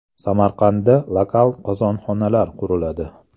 Samarqandda lokal qozonxonalar quriladi.